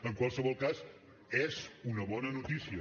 en qualsevol cas és una bona notícia